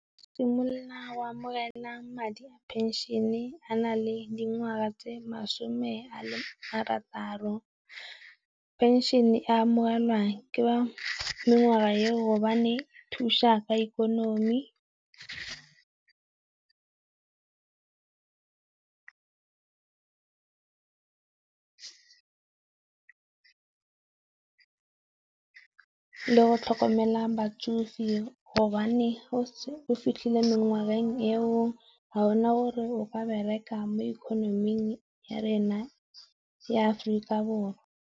Simolola go amogela madi a pension a na le dingwaga tse masome a le marataro. Penšhene e amogelwang ke ba mengwaga eo gobane e thusa ka ikonomi. Le go tlhokomela batsofe hobane ga o fitlhile mengweng eo ga gona gore o ka bereka mo ikonoming ya rona ya Aforika Borwa.